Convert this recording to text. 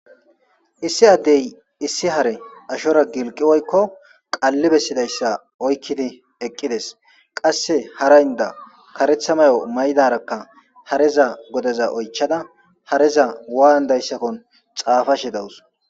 Issi addey issi hare ashora gilqi woykko qalli bessidayssa oykkidi eqqides qasse haraynda karetha mayo maydarakka hareza godeza oychada hareza waandayssakkon xaafa she dawus.